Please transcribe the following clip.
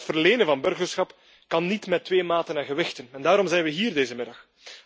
Maar het verlenen van burgerschap kan niet met twee maten en gewichten, en daarom zijn we hier vanmiddag.